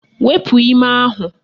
Wepu ime ahụ